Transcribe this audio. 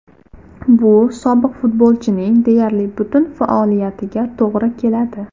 Bu sobiq futbolchining deyarli butun faoliyatiga to‘g‘ri keladi.